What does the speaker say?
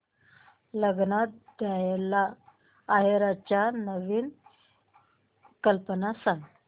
लग्नात द्यायला आहेराच्या नवीन कल्पना सांग